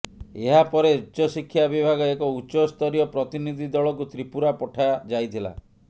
ଏହାପରେ ଉଚ୍ଚଶିକ୍ଷା ବିଭାଗ ଏକ ଉଚ୍ଚସ୍ତରୀୟ ପ୍ରତିନିଧି ଦଳକୁ ତ୍ରିପୁରା ପଠାଯାଇଥିଲା